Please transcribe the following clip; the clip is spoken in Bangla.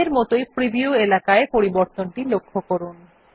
আগের মতই প্রিভিউ এলাকায় পরিবর্তনটি লক্ষ্য করুন